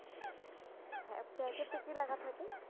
হ্যাঁ প্যাকেটে কি লেখা থাকে